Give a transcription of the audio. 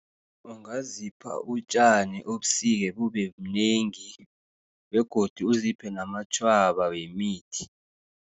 Ungazipha utjani ubusike, bubebunengi begodu uziphe namatjhwaba wemithi.